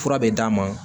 Fura bɛ d'a ma